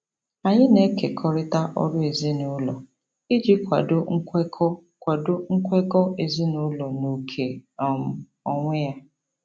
Anyị na-ekekọrịta ọrụ ezinụlọ iji kwado nkwekọ kwado nkwekọ ezinụlọ na oke um onwe onye.